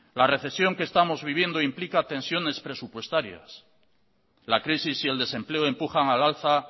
la recesión que estamos viviendo implica tensiones presupuestarias la crisis y el desempleo empujan al alza